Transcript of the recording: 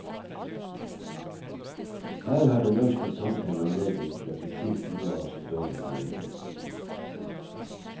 Her har det norske samfunn anledning til å bli kvitt noe av sin dårlige samvittighet.